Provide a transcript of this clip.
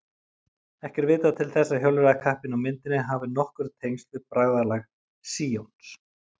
Ekki er vitað til þess að hjólreiðakappinn á myndinni hafi nokkur tengsl við Bræðralag Síons.